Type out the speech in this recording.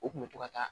O kun bɛ to ka taa